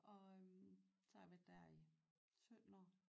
Og øh så har jeg været der i 17 år